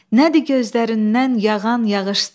Nədir gözlərindən yağan yağışlar?